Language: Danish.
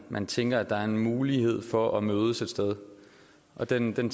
man tænker at der er en mulighed for at mødes et sted den